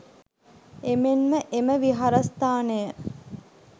එමෙන්ම එම විහාරස්ථානය